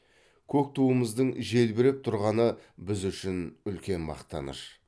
көк туымыздың желбіреп тұрғаны біз үшін үлкен мақтаныш